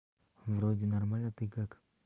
вроде нормально ты как